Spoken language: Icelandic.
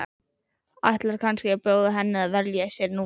Ætlar kannski að bjóða henni að velja sér númer.